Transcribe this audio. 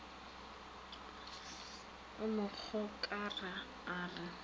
a mo gokara a re